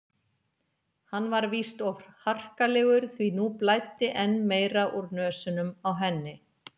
Hann var víst of harkalegur því nú blæddi enn meira úr nösunum á henni.